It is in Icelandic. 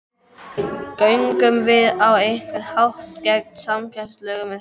Göngum við á einhvern hátt gegn samkeppnislögum með þessu?